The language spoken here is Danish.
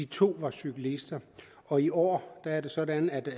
to var cyklister og i år er det sådan at